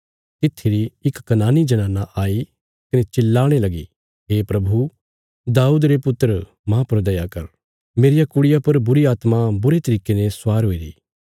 तित्थी री इक कनानी जनाना आई कने चिल्लाणे लगी हे प्रभु दाऊद रे वंशज माह पर दया कर मेरिया कुड़िया पर बुरीआत्मा बुरे तरिके ने स्वार हुईरा